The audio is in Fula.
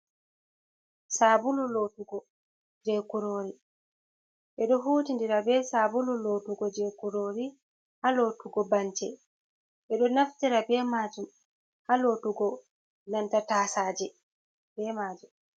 Sabulu lotugo je kurori. Beɗo huti ndira be sabulu lotugo je kurori ha lotugo bance. Beɗo naftira be majum ha lotugo nanta tasaje be majum.